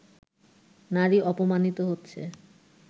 নারী অপমানিত হচ্ছে